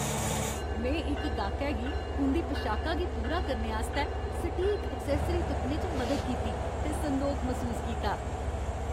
में इक गाह्कै गी उं'दी पशाका गी पूरा करने आस्तै सटीक एक्सैस्सरी तुप्पने च मदद कीती, ते संदोख मसूस कीता।